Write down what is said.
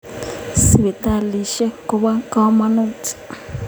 Sipitalisyek kopo kamonut